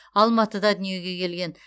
алматыда дүниеге келген